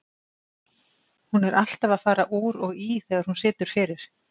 Hún er alltaf að fara úr og í þegar hún situr fyrir.